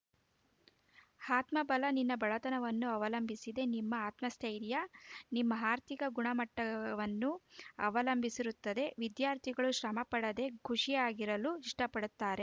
ಆತ್ಮಬಲ ನಿನ್ನ ಬಡತನವನ್ನು ಅವಲಂಬಿಸಿದೆ ನಿಮ್ಮ ಆತ್ಮಸ್ಥೈರ್ಯ ನಿಮ್ಮ ಆರ್ಥಿಕ ಗುಣ ಮಟ್ಟವನ್ನು ಅವಲಂಬಿಸಿರುತ್ತದೆ ವಿದ್ಯಾರ್ಥಿಗಳು ಶ್ರಮ ಪಡದೇ ಖುಷಿಯಾಗಿರಲು ಇಷ್ಟಪಡುತ್ತಾರೆ